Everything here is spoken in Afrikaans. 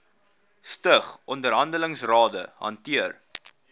stig onderhandelingsrade hanteer